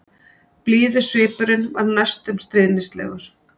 Blíður svipurinn var næstum stríðnislegur.